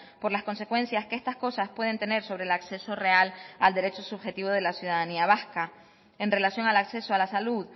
por las consecuencias que estas cosas pueden tener sobre el acceso real al derecho subjetivo de la ciudadanía vasca en relación al acceso a la salud